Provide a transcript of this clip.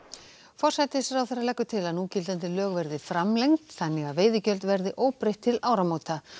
forsætisráðherra leggur til að núgildandi lög verði framlengd þannig að veiðigjöld verði óbreytt til áramóta